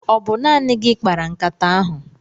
Ọ bụ naanị gị kpara nkata ahụ?